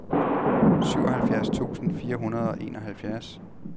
syvoghalvfjerds tusind fire hundrede og enoghalvfjerds